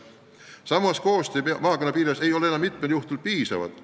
Samas, koostöö maakonna piires ei pruugi tihti piisav olla.